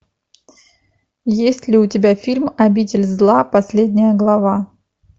есть ли у тебя фильм обитель зла последняя глава